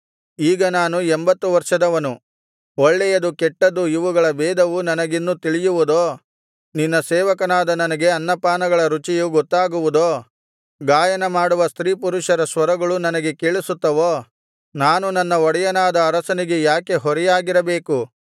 ಈಗ ನಾನು ಎಂಬತ್ತು ವರ್ಷದವನು ಒಳ್ಳೆಯದು ಕೆಟ್ಟದ್ದು ಇವುಗಳ ಭೇದವು ನನಗಿನ್ನು ತಿಳಿಯುವುದೋ ನಿನ್ನ ಸೇವಕನಾದ ನನಗೆ ಅನ್ನಪಾನಗಳ ರುಚಿಯು ಗೊತ್ತಾಗುವುದೋ ಗಾಯನ ಮಾಡುವ ಸ್ತ್ರೀಪುರುಷರ ಸ್ವರಗಳು ನನಗೆ ಕೇಳಿಸುತ್ತವೋ ನಾನು ನನ್ನ ಒಡೆಯನಾದ ಅರಸನಿಗೆ ಯಾಕೆ ಹೊರೆಯಾಗಿರಬೇಕು